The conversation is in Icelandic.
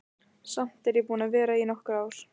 Samt er ég búin að vera í nokkur ár.